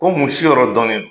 Ko mun si yɔrɔ dɔnnen do